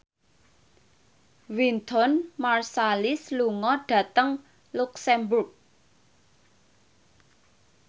Wynton Marsalis lunga dhateng luxemburg